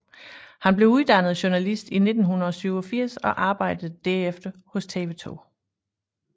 Han blev uddannet journalist i 1987 og arbejdede derefter hos TV 2